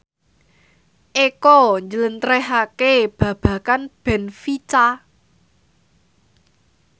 Eko njlentrehake babagan benfica